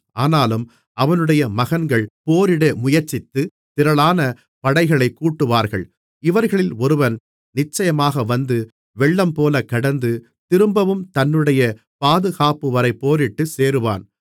ஆனாலும் அவனுடைய மகன்கள் போரிட முயற்சித்து திரளான படைகளைக் கூட்டுவார்கள் இவர்களில் ஒருவன் நிச்சயமாக வந்து வெள்ளம்போலக் கடந்து திரும்பவும் தன்னுடைய பாதுகாப்புவரை போரிட்டு சேருவான்